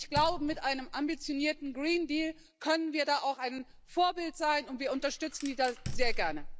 Ich glaube, mit einem ambitionierten Green Deal können wir da auch ein Vorbild sein, und wir unterstützen das sehr gerne.